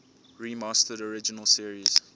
remastered original series